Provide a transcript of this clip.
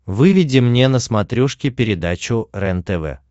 выведи мне на смотрешке передачу рентв